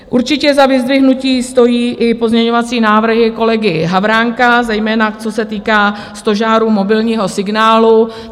Určitě za vyzdvihnutí stojí i pozměňovací návrhy kolegy Havránka, zejména co se týká stožárů mobilního signálu.